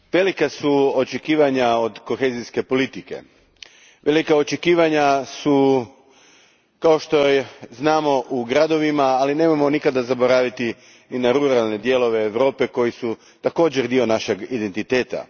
Gospodine predsjedniče, velika su očekivanja od kohezijske politike. Velika su očekivanja kao što znamo u gradovima, ali nemojmo nikada zaboraviti i na ruralne dijelove Europe koji su također dio našeg identiteta.